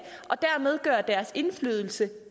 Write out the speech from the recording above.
og dermed gøre deres indflydelse